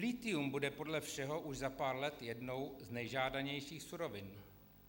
Lithium bude podle všeho už za pár let jednou z nejžádanějších surovin.